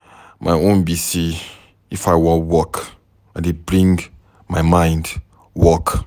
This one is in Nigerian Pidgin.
My own be say if I wan work, I dey bring my mind work.